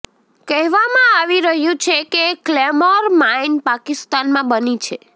કહેવામા આવી રહ્યું છે કે ક્લેમોર માઇન પાકિસ્તાનમાં બની છે